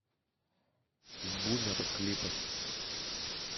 бумер клипы